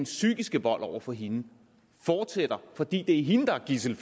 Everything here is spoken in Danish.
psykiske vold over for hende fortsætter fordi det er hende der er gidsel i